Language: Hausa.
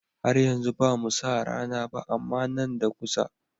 Har yanzu bamu sa rana ba. amma Nan da kusa